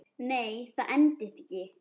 Nei, það endist ekki.